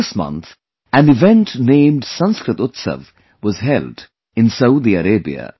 This month, an event named 'Sanskrit Utsav' was held in Saudi Arabia